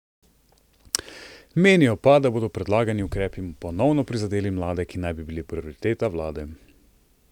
Menijo pa, da bodo predlagani ukrepi ponovno prizadeli mlade, ki naj bi bili prioriteta vlade.